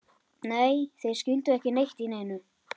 Nei, þeir skildu ekki neitt í neinu.